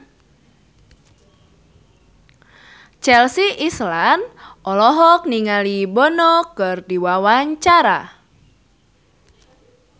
Chelsea Islan olohok ningali Bono keur diwawancara